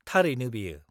-थारैनो बेयो।